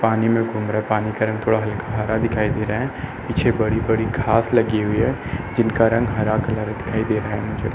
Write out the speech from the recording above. पानी में घूम रहा है। पानी का रंग थोड़ा हल्का हरा दिखाई दे रहा है। पीछे बड़ी-बड़ी घाँस लगी हुई है जिनका रंग हरा कलर दिखाई दे रहा है मुझे।